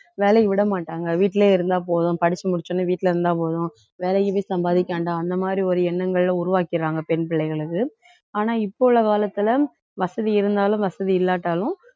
வேலைக்கு விட மாட்டாங்க வீட்டிலேயே இருந்தா போதும் படிச்சு முடிச்சவுடனே வீட்டுல இருந்தா போதும் வேலைக்கு போய் சம்பாதிக்க வேண்டாம் அந்த மாரி ஒரு எண்ணங்களை உருவாக்கிடறாங்க பெண் பிள்ளைகளுக்கு ஆனா இப்ப உள்ள காலத்துல வசதி இருந்தாலும் வசதி இல்லாட்டாலும்